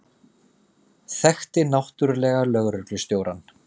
Þekkti náttúrlega lögreglustjórann.